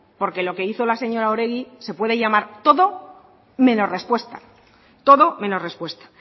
porque lo que hizo la señora oregi se puede llamar todo menos respuesta todo menos respuesta